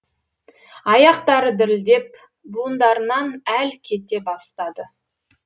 аяқтары дірілдеп буындарынан әл кете бастады